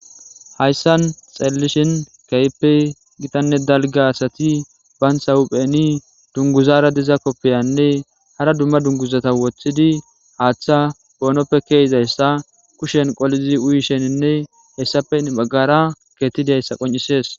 Hayssan xaelelishin kayppe gitanne dalga asati baynha hupheni dunguzara diza koppiyanne hara dumma dunguzata woththidi haaththa poonoppe keezayssa kushen qolizi uyi sheninne hessappe baggara geetidayssa qoncisees